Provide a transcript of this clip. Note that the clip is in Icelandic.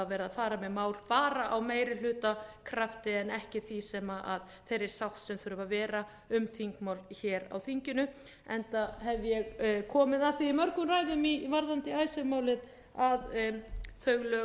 að fara með mál bara á meirihlutakrafti en ekki því sem þeirri sátt sem þarf að vera um þingmál hér á þinginu enda hef ég komið að því í mörgum ræðum varðandi icesave málið að þau lög